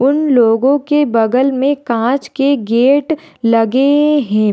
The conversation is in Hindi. उन लोगो के बगल मे काँच के गेट लगे है।